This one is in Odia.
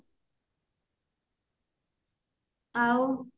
ଆଉ